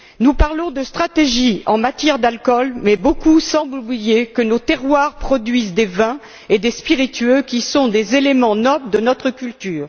Nous parlons de stratégie en matière d'alcool mais beaucoup semblent oublier que nos terroirs produisent des vins et des spiritueux qui sont des éléments nobles de notre culture.